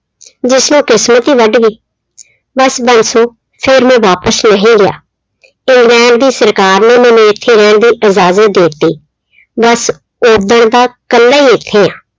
ਜਿਸਨੂੰ ਕਿਸਮਤ ਹੀ ਵੱਢ ਗਈ ਬਸ ਬਾਂਸੋ ਫਿਰ ਮੈਂ ਵਾਪਿਸ ਨਹੀਂ ਗਿਆ ਇੰਗਲੈਂਡ ਦੀ ਸਰਕਾਰ ਨੇ ਮੈਨੂੰ ਇੱਥੇ ਰਹਿਣ ਦੀ ਇਜ਼ਾਜਤ ਦੇ ਦਿੱਤੀ ਬਸ ਓਦਣ ਦਾ ਇਕੱਲਾ ਹੀ ਇੱਥੇ ਹਾਂ।